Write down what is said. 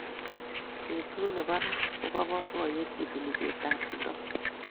Betut nebo ra koba boiboiyet, kituni cheptab kiprop